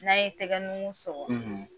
N'an ye tɛgɛ nungu sɔkɔ